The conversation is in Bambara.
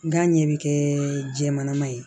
Gan ɲɛ bɛ kɛ jɛman ye